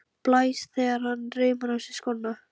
Blæs þegar hann reimar á sig skóna.